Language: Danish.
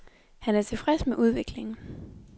Han er tilfreds med udviklingen.